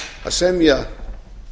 að semja